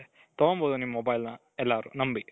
ತಗೊಂಡ್ ಬಹುದು ನಿಮ್ mobileನ ಎಲ್ಲಾರೂ ನಂಬಿ .